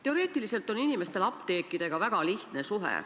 Teoreetiliselt on inimestel apteekidega väga lihtne suhe.